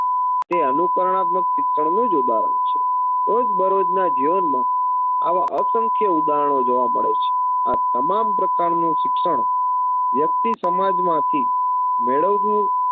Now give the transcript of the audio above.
તે અનુકરણાત્મક શિક્ષણનું જ ઉદાહરણ છે રોજબરોજના જીવનમાં આવા અસંખ્ય ઉદાહરણો જોવા મળે છે આ તમામ પ્રકારનુંં શિક્ષણ વ્યક્તિ સમાજમાંથી મેળવતી